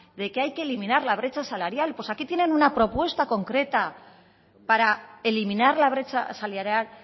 de que hay que eliminar la brecha salarial pues aquí tienen una propuesta concreta para eliminar la brecha salarial